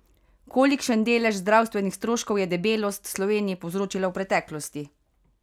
Kolikšen delež zdravstvenih stroškov je debelost Sloveniji povzročila v preteklosti?